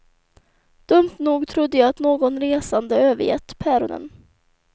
Dumt nog trodde jag att någon resande övergett päronen.